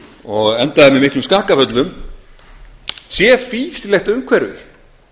og endaði með miklum skakkaföllum sé fýsilegt umhverfi